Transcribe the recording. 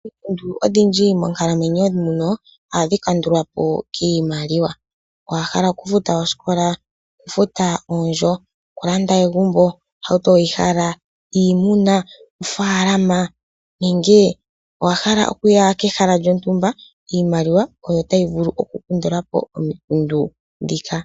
Oompumbwe odhindji monkalamwenyo yetu muno ohadhi kandulwapo kiimaliwa. Owahala oku futa osikola, okufuta oondjo, okulanda egumbo, ohauto weyihala ,iimuna ,ofaalama nenge owahala okuya kehala lyontumba? Iimaliwa oyo tayi vulu oku kandulapo omikundu ndhika.